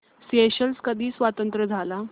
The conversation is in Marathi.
स्येशेल्स कधी स्वतंत्र झाला